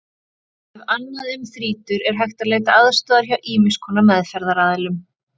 Ef annað um þrýtur er hægt að leita aðstoðar hjá ýmiss konar meðferðaraðilum.